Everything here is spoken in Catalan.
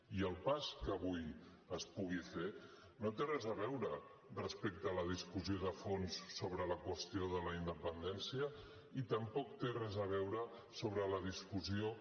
i el pas que avui es pugui fer no té res a veure respecte a la discussió de fons sobre la qüestió de la independència ni tampoc té res a veure sobre la discussió